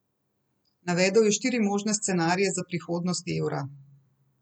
Navedel je štiri možne scenarije za prihodnost evra.